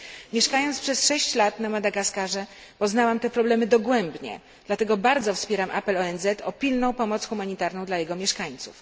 Mieszkając przez sześć lat na Madagaskarze poznałam te problemy dogłębnie, dlatego bardzo wspieram apel ONZ o pilną pomoc humanitarną dla jego mieszkańców.